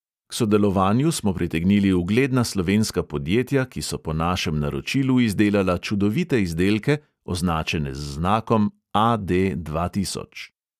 K sodelovanju smo pritegnili ugledna slovenska podjetja, ki so po našem naročilu izdelala čudovite izdelke, označene z znakom A D dva tisoč.